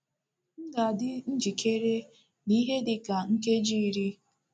M ga-adị njikere n’ihe dị ka nkeji iri. ”